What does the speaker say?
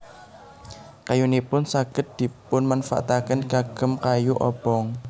Kayunipun saged dipunmanfaataken kagem kayu obong